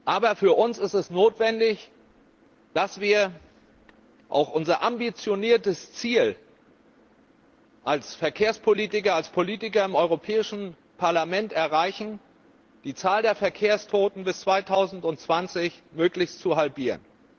Aber für uns ist es notwendig, dass wir auch unser ambitioniertes Ziel als Verkehrspolitiker, als Politiker im Europäischen Parlament erreichen, nämlich die Zahl der Verkehrstoten bis 2020 möglichst zu halbieren.